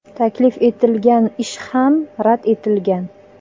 Taklif etilgan ish ham rad etilgan.